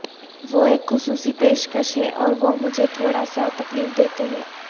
وہ ایک خصوصی پیشکش ہیں اور وہ مجھے تھوڑا سا تکلیف دیتے ہیں